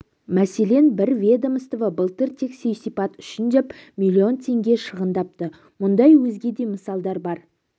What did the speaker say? мәселен бір ведомство былтыр тек сый-сияпат үшін деп миллион теңге шығындапты мұндай өзге де мысалдар бар